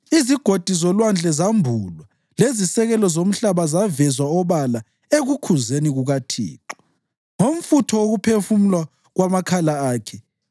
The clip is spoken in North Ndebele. Izigodi zolwandle zambulwa lezisekelo zomhlaba zavezwa obala ekukhuzeni kukaThixo, ngomfutho wokuphefumula kwamakhala akhe.